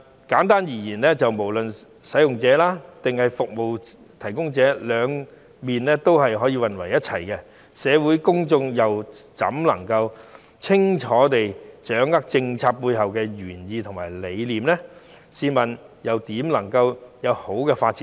簡單而言，不論是使用者或服務提供者，都涉及兩方面的服務，社會公眾又怎能夠清楚地掌握政策背後的原意和理念，試問政策又怎會有良好發展呢？